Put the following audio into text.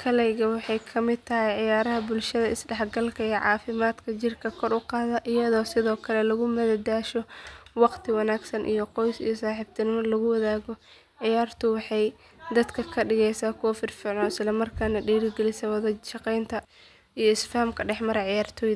kalayga waxay ka mid tahay ciyaaraha bulshada is dhexgalka iyo caafimaadka jirka kor u qaada iyadoo sidoo kale lagu madadaasho wakhti wanaagsan oo qoys iyo saaxiibo lagu wada qaato ciyaartu waxay dadka ka dhigtaa kuwo firfircoon isla markaana dhiirrigelisa wada shaqayn iyo is faham dhex mara ciyaartoyda.